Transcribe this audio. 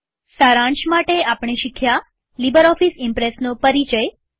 સારાંશ માટે આપણે શીખ્યું લીબરઓફીસ ઈમ્પ્રેસનો પરિચય